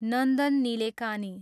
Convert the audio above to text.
Nandan Nilekani